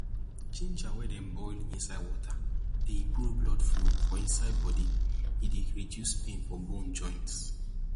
ginger wey dem boil inside water dey improve blood flow for inside body e dey reduce pain for bone joints